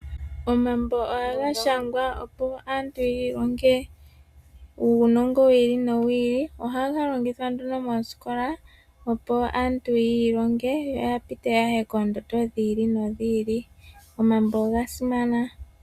Omambo ohaga shangwa opo aantu yiilonge uunongo wiili nowi ili, ohaga longithwa nduno moosikola opo aantu yoilonge yo yapite yaye koondondo dhi ili nodhi ili. Omambo oga simana.